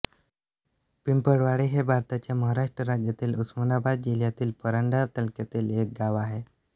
पिंपळवाडी हे भारताच्या महाराष्ट्र राज्यातील उस्मानाबाद जिल्ह्यातील परांडा तालुक्यातील एक गाव आहे